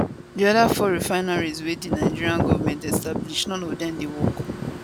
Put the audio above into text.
di oda four refineries wey di nigeria goment establish none of dem dey work